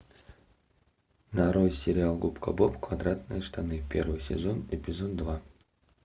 нарой сериал губка боб квадратные штаны первый сезон эпизод два